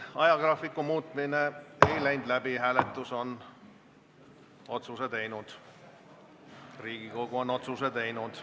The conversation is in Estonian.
Ajagraafiku muutmine ei läinud läbi, Riigikogu on otsuse teinud.